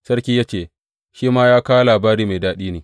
Sarki ya ce, Shi ma yana kawo labari mai daɗi ne.